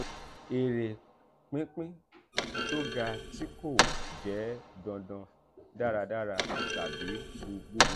ere pinpin to ga ti ko je dandan daradara tabi buburu.